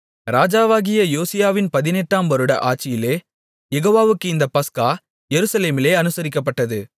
ராஜாவாகிய யோசியாவின் பதினெட்டாம் வருட ஆட்சியிலே யெகோவாவுக்கு இந்தப் பஸ்கா எருசலேமிலே அனுசரிக்கப்பட்டது